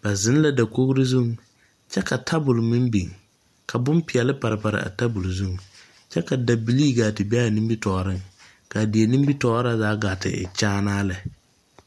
Ba zeŋ la dakogro zuŋ, kyɛ ka tabol meŋ biŋ ka bompeɛle par par a tabol zuŋ, kyɛ ka dabilii gaa te be'a nimitɔɔreŋ. K'a die nimitɔɔr na zaa gaa te e kyaanaa lɛ.